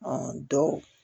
dɔw